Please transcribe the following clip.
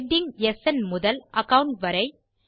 heading ஸ்ன் முதல் account வரை